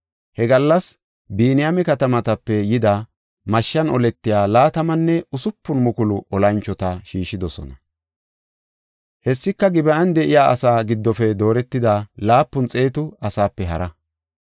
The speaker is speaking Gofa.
He gallas Biniyaame katamatape yida mashshan oletiya laatamanne usupun mukulu olanchota shiishidosona. Hessika Gib7an de7iya asaa giddofe dooretida laapun xeetu asaape hara.